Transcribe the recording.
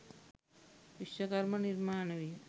විශ්වකර්ම නිර්මාණ විය.